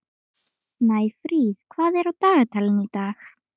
Snæfríð, hvað er á dagatalinu í dag?